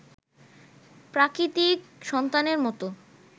প্রাকৃতিক সন্তানের মতো